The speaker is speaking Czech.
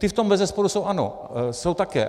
Ty v tom bezesporu jsou, ano, jsou také.